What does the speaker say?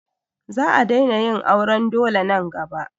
Za a daina yin auran dole nan gaba.